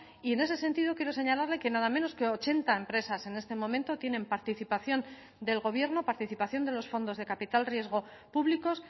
y en ese sentido quiero señalarle que nada menos que ochenta empresas en este momento tienen participación del gobierno participación de los fondos de capital riesgo públicos